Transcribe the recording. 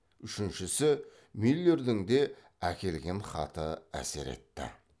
үшіншісі мюллердің де әкелген хаты әсер етті